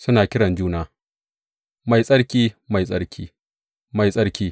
Suna kiran juna, Mai Tsarki, Mai Tsarki, Mai Tsarki!